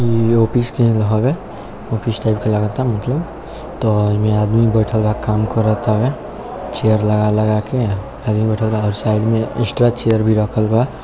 इ ऑपिस के हॉल बा ऑपिस टाइप के लगाता मतलब त ओय मे आदमी बैठएल बा काम कराता चेयर लगा-लगा के हेलमेट वगेरा साइड में एक्स्ट्रा चेयर भी रखल बा।